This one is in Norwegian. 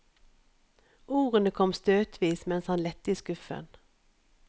Ordene kom støtvis mens han lette i skuffen.